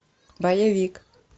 боевик